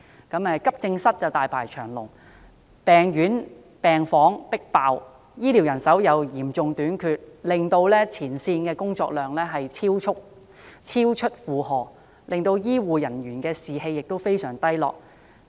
急症室大排長龍，病房"迫爆"，醫護人手嚴重短缺，令前線員工的工作量超出負荷，醫護人員士氣非常低落。